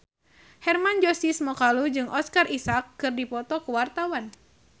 Hermann Josis Mokalu jeung Oscar Isaac keur dipoto ku wartawan